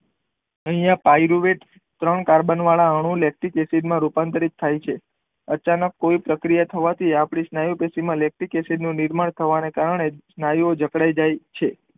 અહીંયા pyruvate ત્રણ carbon વાળા અણુ લેક્ટિક એસિડ માં રૂપાંતરિત થાય છે અચાનક કોઈ પ્રકિયા થવાથી આપણી સ્નાયુ પેશી માં લેક્ટિક એસિડ નું નિર્માણ થવાના કારણે સ્નાયુ ઓ જકડાઇ જાય છે